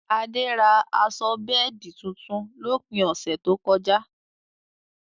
Adé rà aṣọ bẹẹdi tuntun lópin ọṣẹ tó kọ̀ja.